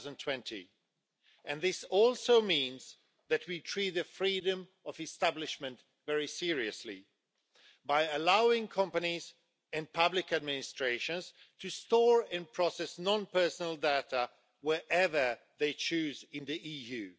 2020. This also means that we treat the freedom of establishment very seriously by allowing companies and public administrations to store and process non-personal data wherever they choose in the EU.